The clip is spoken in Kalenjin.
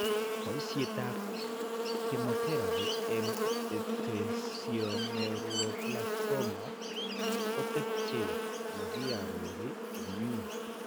Boisietap chemotherapy eng' esthesioneuroblastoma kotepche makiaror komny'e.